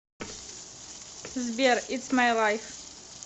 сбер итс май лайф